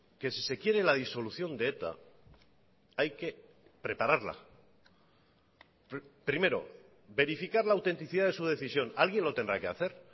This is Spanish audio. que si se quiere la disolución de eta hay que prepararla primero verificar la autenticidad de su decisión alguien lo tendrá que hacer